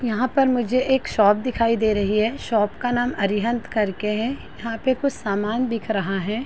यहाँ पर मुझे एक शॉप दिखाई दे रही है शॉप का नाम अरिहंत करके है यहाँ पे कुछ सामान दिख रहा हैं।